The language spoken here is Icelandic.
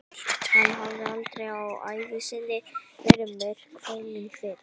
Hann hafði aldrei á ævi sinni verið myrkfælinn fyrr.